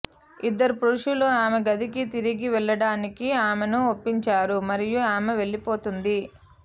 ఇద్దరు పురుషులు ఆమె గదికి తిరిగి వెళ్లడానికి ఆమెను ఒప్పించారు మరియు ఆమె వెళ్లిపోతుంది